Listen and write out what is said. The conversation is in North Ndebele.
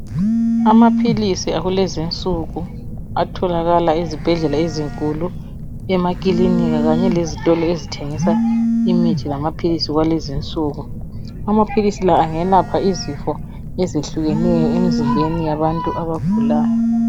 Amaphilisi akulezinsuku atholakala ezibhedlela ezinkulu, emakilinika kanye lezitolo ezithengisa imithi lamaphilisi akulezinsuku. Amaphilisi la angelapha izifo ezehlukeneyo emzimbeni yabantu abagulayo.